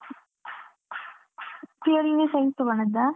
PUC ಅಲ್ಲಿ Science ತೊಗೊಂಡದ್ದಾ?